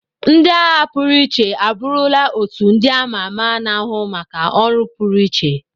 Ndị agha pụrụ iche abụrụla otu ndị ama ama na-ahụ maka ọrụ pụrụiche.